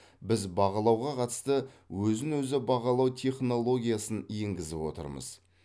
біз бағалауға қатысты өзін өзі бағалау технологиясын енгізіп отырмыз